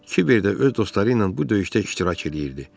Kiber də öz dostları ilə bu döyüşdə iştirak eləyirdi.